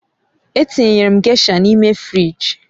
Etinyere m gésha n'ime fịrij